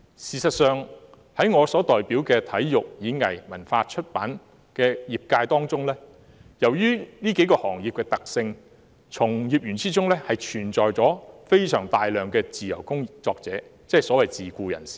事實上，在我代表的體育、演藝、文化及出版界中，基於行業的特性，從業員中有相當多的自由工作者，即所謂的自僱人士。